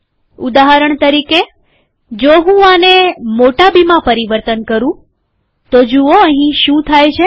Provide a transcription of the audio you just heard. ઉદાહરણ તરીકે જો હું આને મોટા બીમાં પરિવર્તન કરું જુઓઅહીં શું થાય છે